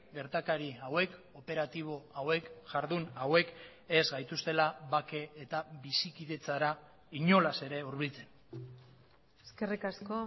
gertakari hauek operatibo hauek jardun hauek ez gaituztela bake eta bizikidetzara inolaz ere hurbiltzen eskerrik asko